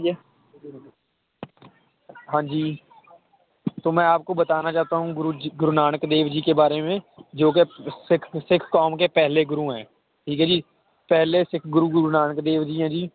ਹਾਂਜੀ ਤੋਂ ਮੈਂ ਆਪ ਕੋ ਬਤਾਨਾ ਚਾਹਤਾਂ ਹੂ ਗੁਰੂ ਜੀ ਗੁਰੂ ਨਾਨਕ ਦੇਵ ਜੀ ਕੇ ਬਾਰੇ ਮੈ ਜੋ ਕੇ ਸਿੱਖ ਸਿੱਖ ਕੌਮ ਕੇ ਪਹਿਲੇ ਠੀਕ ਏ ਜੀ ਪਹਿਲੇ ਸਿੱਖ ਗੁਰੂ ਗੁਰੂ ਨਾਨਕ ਦੇਵ ਜੀ ਹੈ ਜੀ